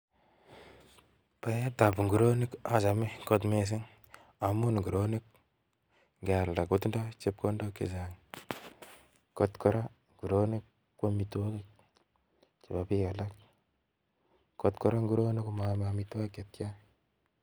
Baet ab nguronik at ovhome kot missing amun nguronik ikealda kotindoi chepkondok chechang kot Koraa nguronik ko omitwokik chebo bik alak, kot Koraa nguronik komo ome omitwokik chetyan.